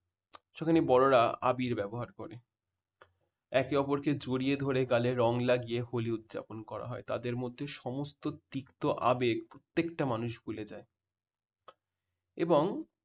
সেখানে বড়রা আবির ব্যবহার করে। একে অপরকে জড়িয়ে ধরে গালে রং লাগিয়ে হোলি উদযাপন করা হয় তাদের মধ্যে সমস্ত তিক্ত আবেগ প্রত্যেকটা মানুষ ভুলে যায়। এবং